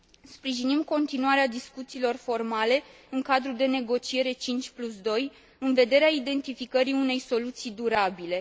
Sprijinim continuarea discuțiilor formale în cadrul de negociere 52, în vederea identificării unei soluții durabile.